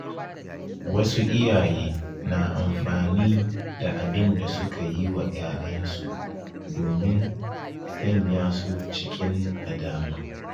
Wasu iyaye na amfani da abin da suka yi wa ‘ya’yansu don sanya su cikin nadama.